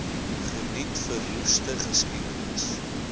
geniet verroeste geskiedenis